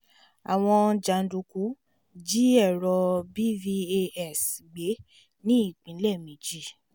àwọn jàǹdùkú jí èrò bvas gbé ní ìpínlẹ̀ méjì